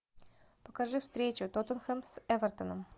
покажи встречу тоттенхэм с эвертоном